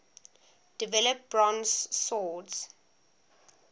develop bronze swords